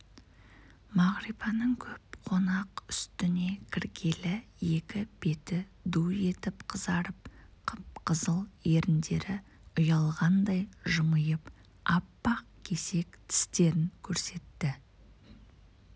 мағрипаның көп қонақ үстіне кіргелі екі беті ду етіп қызарып қып-қызыл еріндері ұялғандай жымиып аппақ кесек тістерін көрсетті